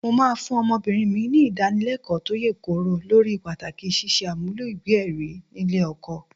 Mo máa fún ọmọbìnrin mi ní ìdánilẹ́kọ̀ọ́ tó yè kooro lórí pàtàkì ṣíṣe àmúlò ìwé-ẹ̀rí nílé ọkọ.